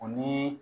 O ni